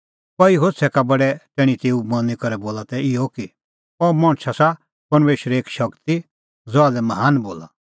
कई होछ़ै का बडै तैणीं तेऊ मनी करै बोला तै इहअ कि अह मणछ आसा परमेशरे एक शगती ज़हा लै महान बोला